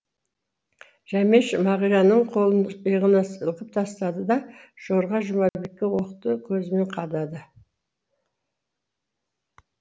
жәмеш мағираның қолын иығынан сілкіп тастады да жорға жұмабекке оқты көзімен қадады